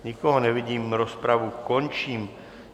Nikoho nevidím, rozpravu končím.